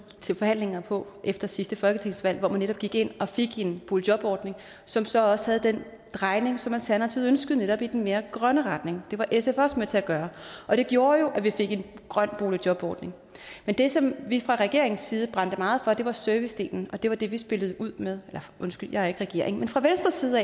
til forhandlinger på efter sidste folketingsvalg hvor man netop gik ind og fik en boligjobordning som så også havde den drejning som alternativet ønskede netop i den mere grønne retning det var sf også med til at gøre det gjorde jo at vi fik en grøn boligjobordning men det som vi fra regeringens side brændte meget for var servicedelen det var det vi spillede ud med undskyld jeg er ikke regering men fra venstres side